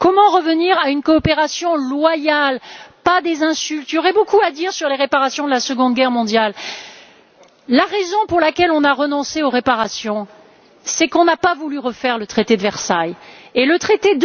Comment revenir à une coopération loyale, et non à des insultes. Il y aurait beaucoup à dire sur les réparations de la Seconde Guerre mondiale. La raison pour laquelle nous avons renoncé aux réparations est que nous n'avons pas voulu refaire le traité de Versailles et le traité